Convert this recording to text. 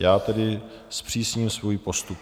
Já tedy zpřísním svůj postup.